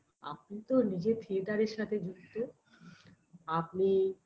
আপনি তো নিজে theatre -এর সাথে যুক্ত আপনি